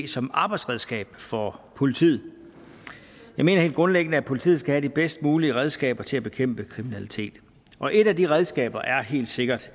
som arbejdsredskab for politiet jeg mener helt grundlæggende at politiet skal have de bedst mulige redskaber til at bekæmpe kriminalitet og et af de redskaber er helt sikkert